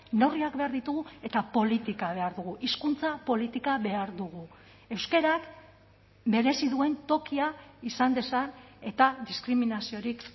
neurriak behar ditugu eta politika behar dugu hizkuntza politika behar dugu euskarak merezi duen tokia izan dezan eta diskriminaziorik